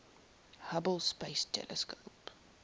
hubble space telescope